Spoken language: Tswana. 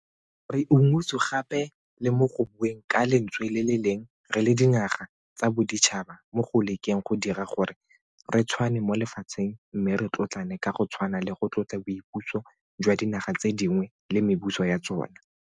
Re unngwetswe gape le mo go bueng ka lentswe le le leng re le dinaga tsa boditšhaba mo go lekeng go dira gore re tshwane mo lefatsheng mme re tlotlane ka go tshwana le go tlotla boipuso jwa dinaga tse dingwe le mebuso ya tsona.